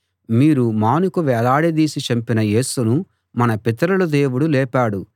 మీరు మానుకు వేలాడదీసి చంపిన యేసును మన పితరుల దేవుడు లేపాడు